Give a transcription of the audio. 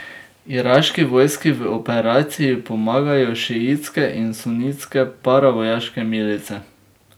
Iraški vojski v operaciji pomagajo šiitske in sunitske paravojaške milice.